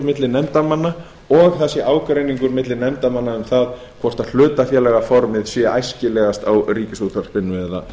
varðandi gjaldtöku og að ágreiningur sé milli nefndarmanna um hvort hlutafélagaformið sé æskilegast á ríkisútvarpinu